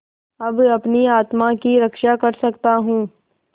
अब अपनी आत्मा की रक्षा कर सकता हूँ